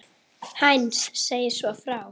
Heinz segir svo frá: